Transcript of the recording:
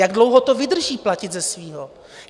Jak dlouho to vydrží platit ze svého?